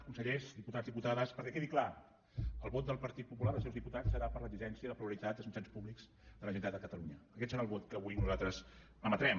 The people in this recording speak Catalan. consellers diputats diputades perquè quedi clar el vot del partit popular dels seus diputats serà per a l’exigència de pluralitat als mitjans públics de la generalitat de catalunya aquest serà el vot que avui nosaltres emetrem